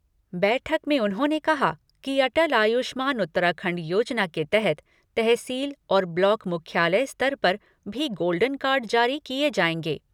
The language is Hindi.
बैठक में उन्होंने कहा कि अटल आयुष्मान उत्तराखंड योजना के तहत तहसील और ब्लॉक मुख्यालय स्तर पर भी गोल्डन कार्ड जारी किये जाएंगे।